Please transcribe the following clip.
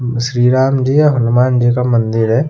श्री राम जी और हनुमान जी का मंदिर है।